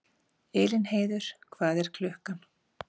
Elínheiður, hvað er klukkan?